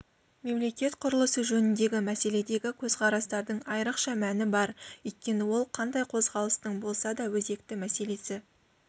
мемлекет құрылысы жөніндегі мәселедегі көзқарастардың айрықша мәні бар өйткені ол қандай қозғалыстың болса да өзекті мәселесі